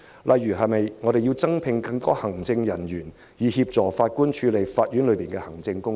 例如須否招聘更多行政人員，以協助法官處理法院的行政工作？